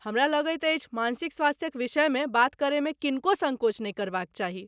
हमरा लगैत अछि मानसिक स्वास्थ्यक विषयमे बात करयमे किनको सङ्कोच नहि करबाक चाही।